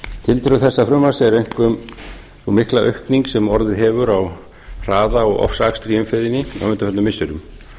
tildrög þessa frumvarps eru einkum sú mikla aukning sem orðið hefur á hraða og ofsaakstri í umferðinni á undanförnum missirum